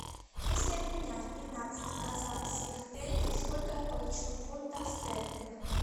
если обменять пятнадцать казахских тенге сколько я получу фунтов стерлингов